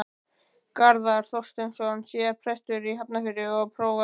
Garðar Þorsteinsson, síðar prestur í Hafnarfirði og prófastur.